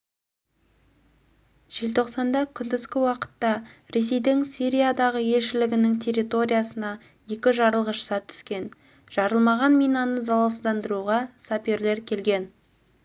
желтоқсанда күндізгі уақытта ресейдің сириядағы елшілігінің территориясына екі жарылғыш зат түскен жарылмаған минаны залалсыздандыруға саперлер келген